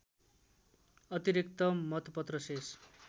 अतिरिक्त मतपत्र शेष